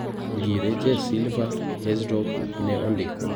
Ngire Jes silva Herzog ne ondiko.